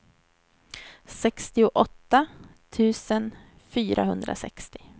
sextioåtta tusen fyrahundrasextio